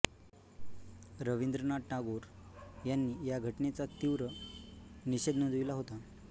रवींद्रनाथ टागोर यांनी या घटनेचातीव्र निषेध नोंदविला होता